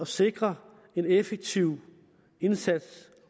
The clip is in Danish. sikres en effektiv indsats